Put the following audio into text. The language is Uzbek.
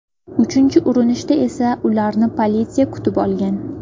Uchinchi urinishda esa ularni politsiya kutib olgan.